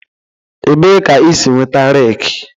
Ebee ka i si nweta rake